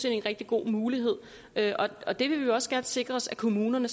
en rigtig god mulighed og det vil vi også gerne sikre os at kommunerne